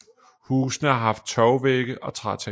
Husene har haft tørvevægge og trætag